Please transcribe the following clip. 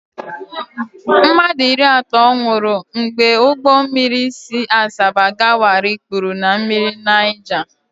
Mmadụ iri atọ nwụrụ mgbe ụgbọ mmiri si Asaba aga Warri kpuru na mmiri Naija.